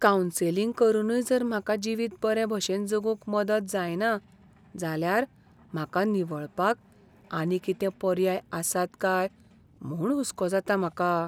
Counselling करूनय जर म्हाका जिवीत बरे भशेन जगूंक मदत जायना जाल्यार म्हाका निवळपाक आनी कितें पर्याय आसात काय म्हूण हुसको जाता म्हाका.